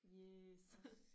Yes